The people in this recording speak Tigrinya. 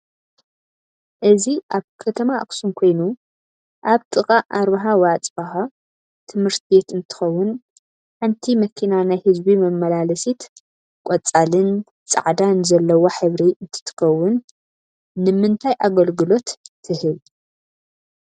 እዚ ኣብ ከተማኣክሱም ኮይኑ ኣብ ጥቃ ኣርበሃፅባህ ቤት ትምህርትቤት እንትከውን ሓንቲ መኪናናይ ህዝቢ መማላለስቲ ቆፃሊን ፣ፃዕዳን ዘለዋ ሕብሪ እንትትከውን ንምንታይ ኣገልግሎት ትህብ?